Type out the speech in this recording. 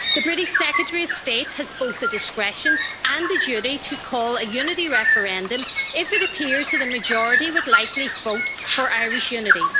The British Secretary of State has both the discretion and the duty to call a unity referendum if it appears the majority would likely vote for Irish unity.